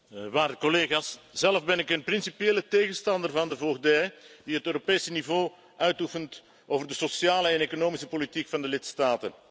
Waarde collega's, zelf ben ik een principiële tegenstander van de voogdij die het Europese niveau uitoefent over de sociale en economische politiek van de lidstaten.